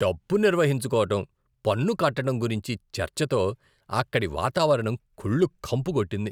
డబ్బు నిర్వహించుకోవటం, పన్నుకట్టటం గురించి చర్చతో అక్కడి వాతావరణం కుళ్ళు కంపు కొట్టింది.